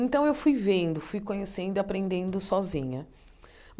Então, eu fui vendo, fui conhecendo e, aprendendo sozinha.